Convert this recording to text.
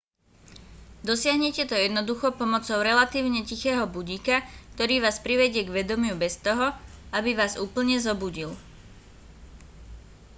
dosiahnete to jednoducho pomocou relatívne tichého budíka ktorý vás privedie k vedomiu bez toho aby vás úplne zobudil